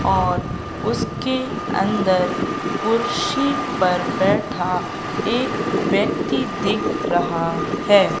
और उसके अंदर कुर्सी पर बैठा एक व्यक्ति दिख रहा है।